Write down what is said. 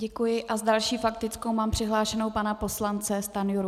Děkuji a s další faktickou mám přihlášeného pana poslance Stanjuru.